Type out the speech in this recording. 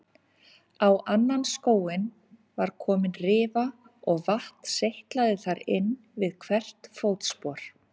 Á annan skóinn var komin rifa og vatn seytlaði þar inn við hvert fótspor.